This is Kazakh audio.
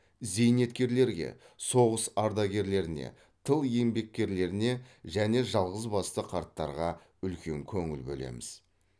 зейнеткерлерге соғыс ардагерлеріне тыл еңбеккерлеріне және жалғызбасты қарттарға үлкен көңіл бөлеміз